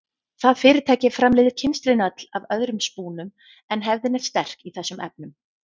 Það fyrirtæki framleiðir kynstrin öll af öðrum spúnum en hefðin er sterk í þessum efnum.